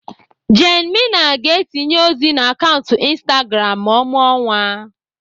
Jane Mena ga-etinye ozi na akaụntụ Instagram ma ọ mụọ nwa.